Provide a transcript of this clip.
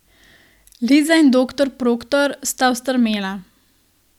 Liza in doktor Proktor sta ostrmela.